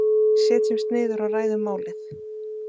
Setjumst niður og ræðum málið.